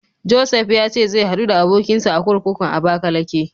Josef ya ce zai haɗu da abokinsa a kurkukun Abakalake.